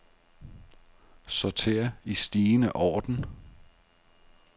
Sorter i stigende orden.